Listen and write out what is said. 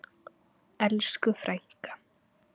Elsku frænka.